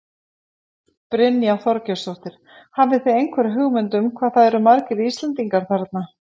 Brynja Þorgeirsdóttir: Hafið þið einhverja hugmynd um hvað það eru margir Íslendingar þarna?